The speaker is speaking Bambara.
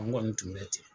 An kɔni tun bɛ ten